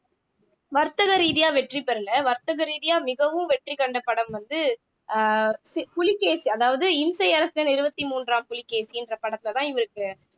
வர்த்தக ரீதியா வெற்றி பெறல வர்த்தக ரீதியா மிகவும் வெற்றி கண்ட படம் வந்து அஹ் புலிகேசி அதாவது இம்சை அரசன் இருபத்தி மூன்றாம் புலிகேசின்ற படத்துலதான் இவருக்கு